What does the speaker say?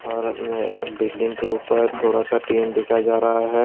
और अपने बिल्डिंग के ऊपर थोड़ा सा टीन दिखा जा रहा है।